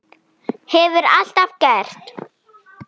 Hefur alltaf gert.